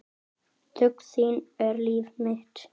Þögn þín er líf mitt.